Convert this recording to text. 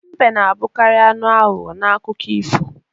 Mbe na-abụkarị anụ aghụghọ n'akụkọ ifo